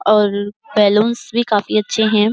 और बलून्स भी काफी अच्छे हैं।